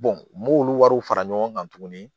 n m'olu wariw fara ɲɔgɔn kan tuguni